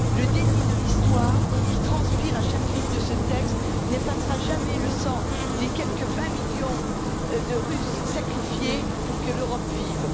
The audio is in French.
Le déni de l'Histoire qui transpire à chaque ligne de ce texte n'effacera jamais le sang des quelque 20 millions de Russes sacrifiés pour que l'Europe vive.